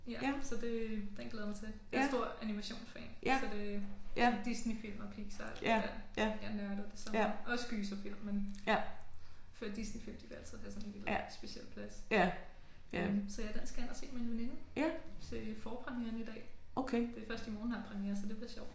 Ja så det den glæder jeg mig til. Jeg er stor animationsfan så det Disneyfilm og Pixar alt det der. Jeg nørder det så meget. Også gyserfilm men jeg føler Disneyfilm de vil altid have sådan en helt speciel plads. Ja så den skal jeg ind og se i dag med en veninde til forpremieren i dag. Det først i morgen den har præmiere så det bliver sjovt